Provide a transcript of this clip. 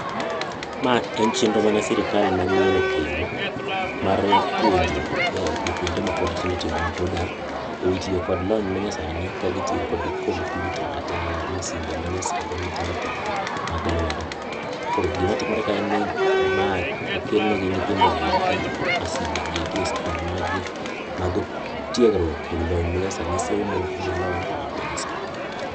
ma en chenro mane sirikal manyien okelo mar puonjo jopuonjre matindo tindo ma pod a ewi tiyo kod lony manyasani ka gi tiyo kod computer kata masinde manyasani matindo tindo mag lwedo, koro gima timore ka ma okel ne nyithindo gi eki masinde gi eki e skunde gi mag tiegruok ewi lony manyasani somo gi lony manyasani.